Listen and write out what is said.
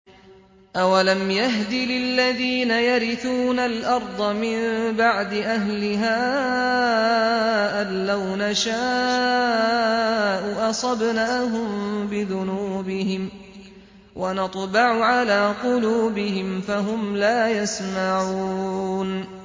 أَوَلَمْ يَهْدِ لِلَّذِينَ يَرِثُونَ الْأَرْضَ مِن بَعْدِ أَهْلِهَا أَن لَّوْ نَشَاءُ أَصَبْنَاهُم بِذُنُوبِهِمْ ۚ وَنَطْبَعُ عَلَىٰ قُلُوبِهِمْ فَهُمْ لَا يَسْمَعُونَ